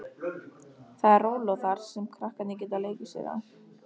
Það er róló þar, sem krakkarnir geta leikið sér á